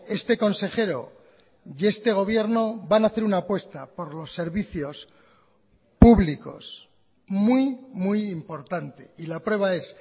este consejero y este gobierno van a hacer una apuesta por los servicios públicos muy muy importante y la prueba es